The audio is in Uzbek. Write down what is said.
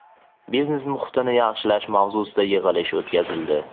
biznes muhitini yaxshilash mavzusida yig‘ilish o‘tkazildi.